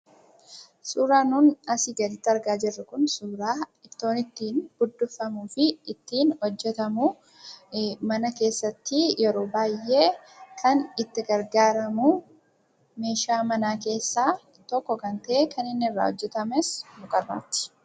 Suuraan nuun asii gaditti agarru kun, ittoon ittiin buddukfamuufi ittiin hojjatamu, mana keesaatti yeroo baayyee kan itti gargaaramu, meeshaa mana keessa tokko kan ta'e, kan inni irraa hojjatames mukarraati.